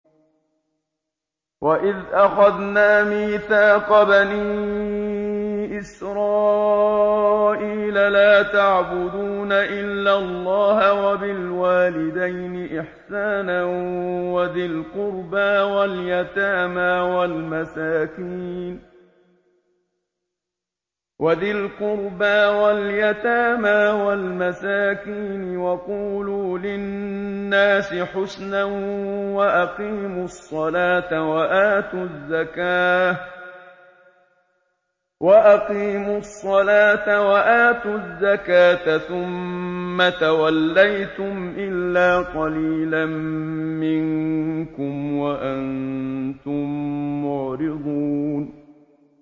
وَإِذْ أَخَذْنَا مِيثَاقَ بَنِي إِسْرَائِيلَ لَا تَعْبُدُونَ إِلَّا اللَّهَ وَبِالْوَالِدَيْنِ إِحْسَانًا وَذِي الْقُرْبَىٰ وَالْيَتَامَىٰ وَالْمَسَاكِينِ وَقُولُوا لِلنَّاسِ حُسْنًا وَأَقِيمُوا الصَّلَاةَ وَآتُوا الزَّكَاةَ ثُمَّ تَوَلَّيْتُمْ إِلَّا قَلِيلًا مِّنكُمْ وَأَنتُم مُّعْرِضُونَ